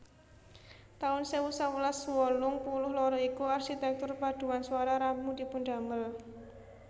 taun sewu sewelas wolung puluh loro iku arsitektur paduan swara rampung dipundamel